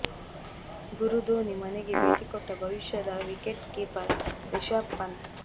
ಗುರು ಧೋನಿ ಮನೆಗೆ ಭೇಟಿ ಕೊಟ್ಟ ಭವಿಷ್ಯದ ವಿಕೆಟ್ ಕೀಪರ್ ರಿಷಬ್ ಪಂತ್